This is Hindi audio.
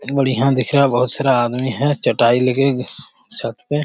ये बढ़िया दिख रहा है बहुत सारा आदमी है चटाई लेके छत पे --